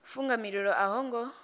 funga mililo a ho ngo